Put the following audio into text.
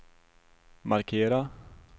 markera